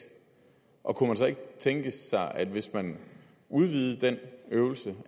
og kunne man ikke tænke sig at hvis man udvidede den øvelse